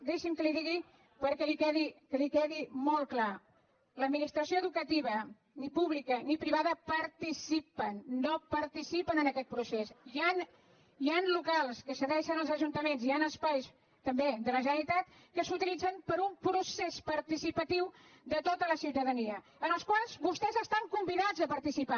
deixi’m que li ho digui perquè li quedi molt clar l’administració educativa ni pública ni privada participen no participen en aquest procés hi han locals que cedeixen els ajuntaments hi han espais també de la generalitat que s’utilitzen per un procés participatiu de tota la ciutadania en els quals vostès estan convidats a participar